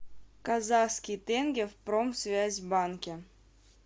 казахский тенге в промсвязьбанке